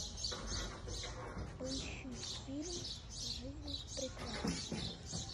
поищи фильм жизнь прекрасна